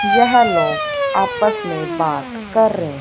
यह लोग आपस में बात कर रहे--